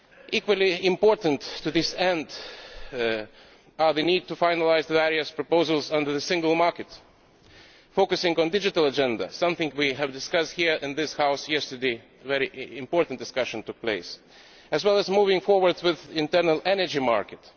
Equally importantly to this end, we need to finalise the various proposals under the single market focusing on the digital agenda something that was raised here in this House yesterday when a very important discussion took place as well as moving forward with the internal energy market.